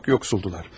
Çox yoxsul idilər.